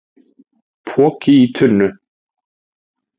Poki í tunnu